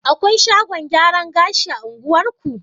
Akwai shagon gyaran gashi a unguwarku?